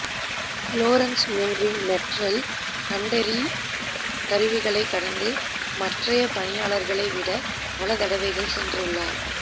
Lawrence மின்ரின் metal கண்டறி கருவிகளை கடந்து மற்றய பணியாளர்களை விட பல தடவைகள் சென்றுள்ளார்